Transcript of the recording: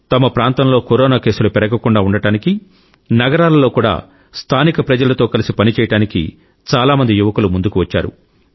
తమ ప్రాంతంలో కరోనా కేసులు పెరగకుండా ఉండటానికి నగరాలలో కూడా స్థానిక ప్రజలతో కలిసి పనిచేయడానికి చాలా మంది యువకులు ముందుకు వచ్చారు